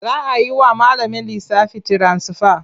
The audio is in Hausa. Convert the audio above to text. Za a yi wa malamin lissafi tiransifa.